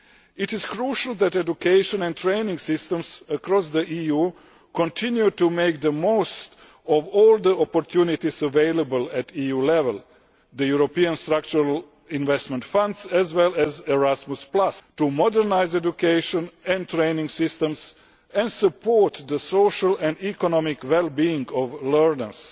It is crucial that education and training systems across the EU continue to make the most of all the opportunities available at EU level, such as the European Structural Investment Funds and Erasmus, to modernise education and training systems and to support the social and economic well being of learners.